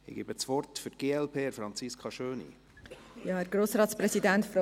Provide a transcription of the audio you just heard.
Das Wort hat Franziska Schöni für die glp.